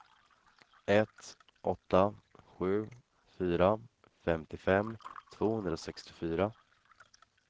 ett åtta sju fyra femtiofem tvåhundrasextiofyra